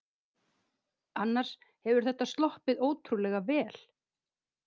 Annars hefur þetta sloppið ótrúlega vel